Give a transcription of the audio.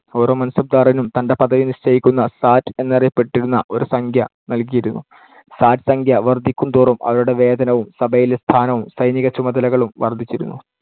ഓരോ മാൻസബ്ദാറിനും തന്‍ടെ പദവി നിശ്ചയിക്കുന്ന സാറ്റ് എന്നറിയപ്പെട്ടിരുന്ന ഒരു സംഖ്യ നൽകിയിരുന്നു. സാറ്റ് സംഖ്യ വർദ്ധിക്കുന്തോറും അവരുടെ വേതനവും, സഭയിലെ സ്ഥാനവും, സൈനികചുമതലകളും വർദ്ധിച്ചിരുന്നു.